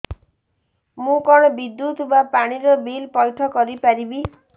ମୁ କଣ ବିଦ୍ୟୁତ ବା ପାଣି ର ବିଲ ପଇଠ କରି ପାରିବି